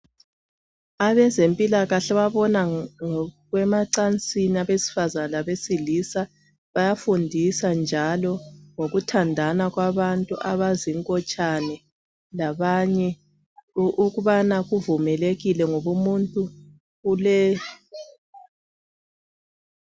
Abazempilakahle ababona ngokwemacansini kwabesifazana labesilisa bayafundisa njalo ngokuthandana kwabantu abazingotshane labanye ukubana kuvumelekile ngobumuntu ule